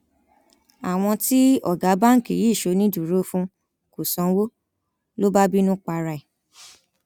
àwọn tí ọgá báǹkì yìí ṣonídùúró fún kò sanwó ló bá bínú para ẹ